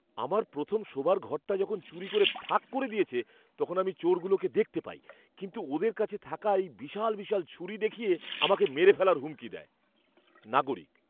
আমার প্রথম শোবার ঘরটা যখন চুরি করে ফাঁক করে দিয়েছে তখন আমি চোরগুলোকে দেখতে পাই, কিন্তু ওদের কাছে থাকা এই বিশাল বিশাল ছুরি দেখিয়ে আমাকে মেরে ফেলার হুমকি দেয়। নাগরিক